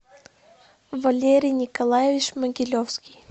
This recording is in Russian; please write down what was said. валерий николаевич могилевский